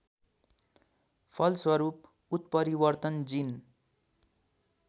फलस्वरूप उत्परिवर्तन जिन